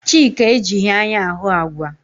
Chika ejighi anya ahụ àgwà.